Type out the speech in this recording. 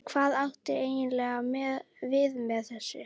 Hvað áttu eiginlega við með þessu?